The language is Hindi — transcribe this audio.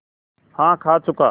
हाँ खा चुका